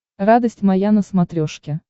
радость моя на смотрешке